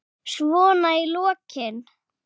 Svona í lokin.